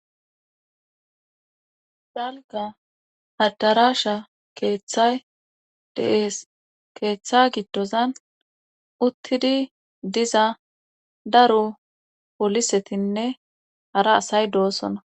Dalgga addaraasha keeththay de7ees keeththa giddozan uttidi diza daro polisetinne hara asay doosona.